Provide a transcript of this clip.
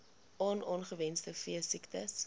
on ongewenste veesiektes